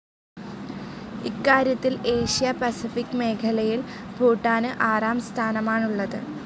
ഇക്കാര്യത്തിൽ Asia Pacific മേഖലയിൽ ഭൂട്ടാന് ആറാം സ്ഥാനമാണുള്ളത്.